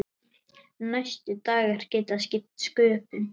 Næstu dagar geta skipt sköpum.